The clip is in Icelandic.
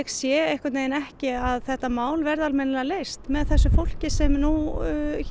sé ekki að þetta mál verði almennilega leyst með þessu fólki sem nú